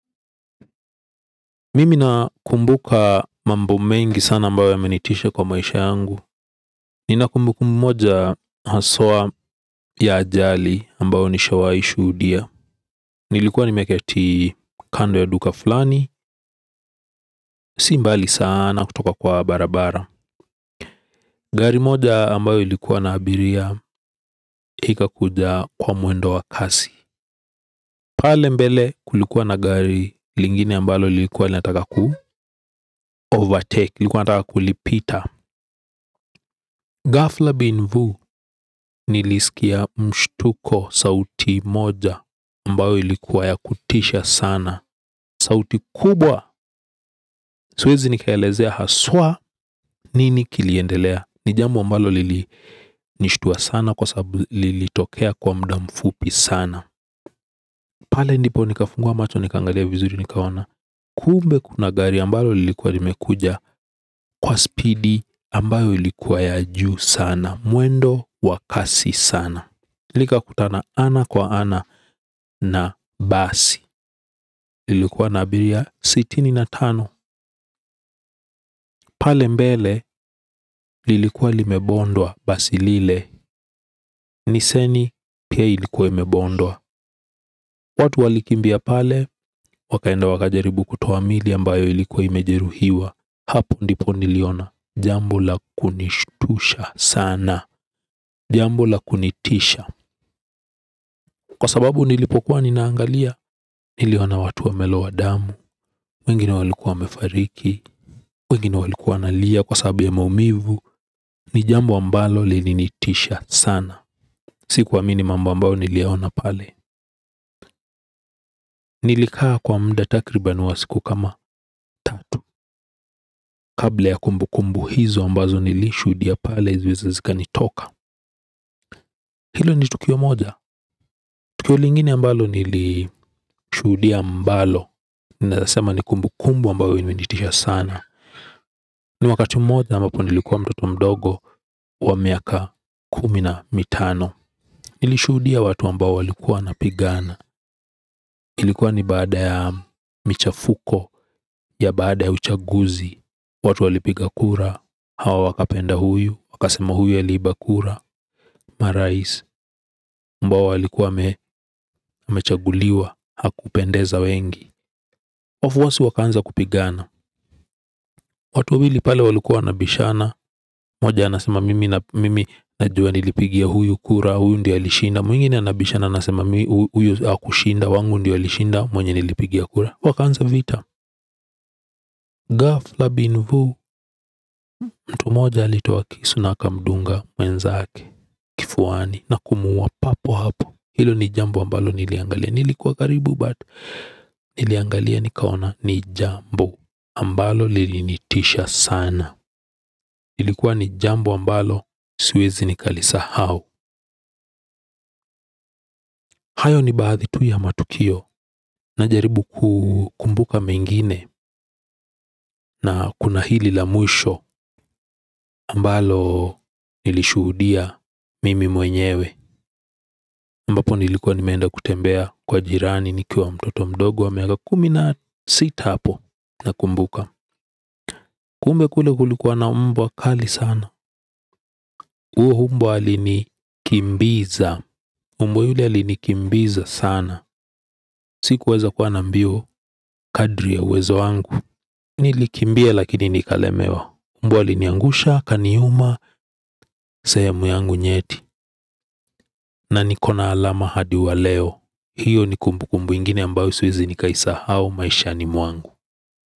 Mimi nakumbuka mambo mengi sana ambayo yamenitisha kwa maisha yangu. Nina kumbukumbu mmoja haswa ya ajali ambayo nishawai shuhudia. Nilikuwa nimeketi kando ya duka fulani. Si mbali sana kutoka kwa barabara. Gari moja ambayo likuwa na abiria ikakuja kwa mwendo wa kasi. Pale mbele kulikuwa na gari lingine ambalo likuwa linataka ku Overtake, likuwa linataka kulipita. Gafla bin vu niliskia mshtuko sauti moja ambayo ilikuwa ya kutisha sana sauti kubwa siwezi nikaelezea haswa nini kiliendelea ni jambo ambalo lilinishutua sana kwa sababu lilitokea kwa muda mfupi sana. Pale ndipo nikafungua macho nikaangalia vizuri nikaona. Kumbe kuna gari ambalo lilikuwa limekuja kwa speedi ambayo ilikuwa ya juu sana mwendo wa kasi sana. Likakutana ana kwa ana na basi. Lililokuwa na abiria sitini na tano. Pale mbele lilikuwa limebondwa basi lile Nissani pia ilikuwa imebondwa. Watu walikimbia pale. Wakaenda wakajaribu kutuo miili ambayo ilikuwa imejeruhiwa hapo ndipo niliona, jambo la kunishtusha sana, jambo la kunitisha. Kwa sababu nilipokuwa ninaangalia, niliona watu wamelowa damu, wengine walikuwa wamefariki, wengine walikuwa wanalia kwa sababu ya maumivu, ni jambo ambalo lilinitisha sana. Sikuamini mambo ambayo niliona pale. Nilikaa kwa muda takriba wa siku kama tatu, kabla ya kumbukumbu hizo ambazo nilishuhudia pale, ziweze zikanitoka. Hilo ni tukio moja. Tukio lingine ambalo nilishuhudia ambalo ninaezasema ni kumbukumbu ambayo imenitisha sana. Ni wakati mmoja ambapo nilikuwa mtoto mdogo wa miaka kumi na mitano. Nilishudia watu ambao walikuwa napigana. Ilikuwa ni bada ya michafuko ya bada ya uchaguzi. Watu walipiga kura hawa wakapenda huyu. Wakasema huyu aliiba kura marais. Mbao walikuwa wamechaguliwa hakupendeza wengi wafuasi wakaanza kupigana. Watu wawili pale walikua wanabishana. Mmoja anasema mimi na mimi. Najua nilipigia huyu kura. Huyu ndiye alishinda. Mwingine anabishana anasema huyu hakushinda. Wangu ndiye alishinda. Mwenye nilipigia kura. Wakaanza vita. Ghafla bin vu. Mtu moja alitoa kisu na akamdunga. Mwenzake Kifuani Na kumuua papo hapo. Hilo ni jambo ambalo niliangalia. Nilikuwa karibu but. Niliangalia nikaona. Ni jambo ambalo lilinitisha sana ilikuwa ni jambo ambalo siwezi nikalisahau. Hayo ni baadhi tu ya matukio. Najaribu kumbuka mengine na kuna hili la mwisho ambalo nilishuhudia mimi mwenyewe ambapo nilikuwa nimeenda kutembea kwa jirani nikiwa mtoto mdogo wa miaka kumi na sita hapo nakumbuka. Kumbe kule kulikuwa na mbwa kali sana. Uo mbwa alinikimbiza mbwa yule alinikimbiza sana. Sikuweza kuwa na mbio kadri ya uwezo wangu. Nilikimbia lakini nikalemewa. Mbwa aliniangusha, akaniuma, sehemu yangu nyeti na niko na alama hadi wa leo. Hiyo ni kumbukumbu ingine ambayo siwezi nikaisahau maishani mwangu.